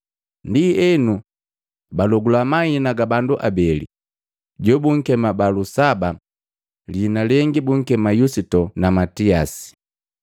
Ndi bundoba Sapanga bapwaga, “Bambo weapa ugumanya mwoju wa kila mundu. Ndienu utulangia mundu jounhagwi kati ja bandu abaa.